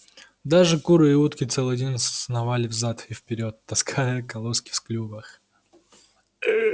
даже куры и утки целый день сновали взад и вперёд таская колоски в клювах